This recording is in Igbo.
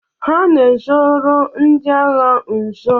Ha na-ezoro ndị agha nzo.